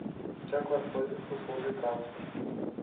как воспользоваться услугой трансфер